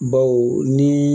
Baw ni